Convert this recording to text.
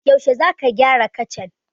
Yaushe za ka gyara kacan?